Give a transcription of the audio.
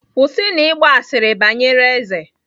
Kwụsịnụ ịgba asịrị banyere eze!